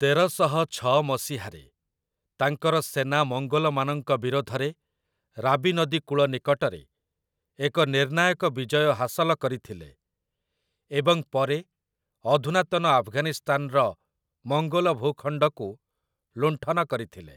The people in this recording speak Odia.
ତେରଶହ ଛଅ ମସିହାରେ ତାଙ୍କର ସେନା ମଙ୍ଗୋଲମାନଙ୍କ ବିରୋଧରେ ରାବି ନଦୀ କୂଳ ନିକଟରେ ଏକ ନିର୍ଣ୍ଣାୟକ ବିଜୟ ହାସଲ କରିଥିଲେ ଏବଂ ପରେ ଅଧୁନାତନ ଆଫଗାନିସ୍ତାନର ମଙ୍ଗୋଲ ଭୂଖଣ୍ଡକୁ ଲୁଣ୍ଠନ କରିଥିଲେ ।